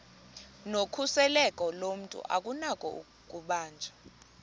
nokhuseleko lomntu akunakubanjwa